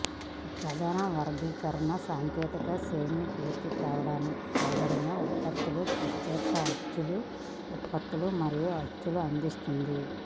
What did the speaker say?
ప్రధాన వర్గీకరణ సాంకేతిక సెమీ పూర్తి కాబడిన ఉత్పత్తులు ప్రత్యక్ష అచ్చు ఉత్పత్తులు మరియు అచ్చు అందిస్తుంది